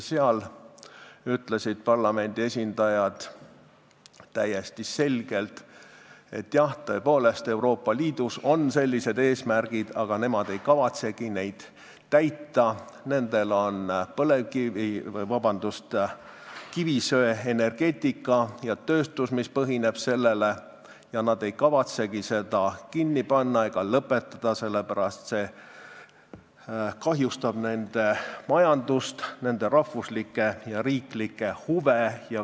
Seal ütlesid parlamendi esindajad täiesti selgelt, et jah, Euroopa Liidus on sellised eesmärgid, aga nemad ei kavatsegi neid täita, nendel on kivisöeenergeetika ja tööstus, mis sellel põhineb, ja nad ei kavatsegi seda kinni panna ega lõpetada, sest see kahjustaks nende majandust, nende rahvuslikke ja riiklikke huve.